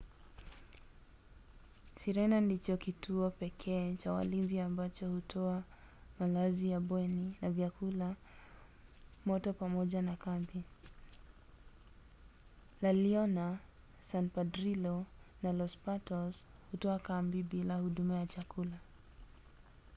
sirena ndicho kituo pekee cha walinzi ambacho hutoa malazi ya bweni na vyakula moto pamoja na kambi. la leona san pedrillo na los patos hutoa kambi bila huduma ya chakula